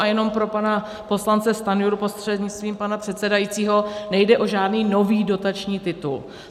A jenom pro pana poslance Stanjuru prostřednictvím pana předsedajícího, nejde o žádný nový dotační titul.